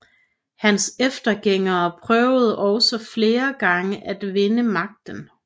Hans eftergængere prøvede også flere gange at vinde magten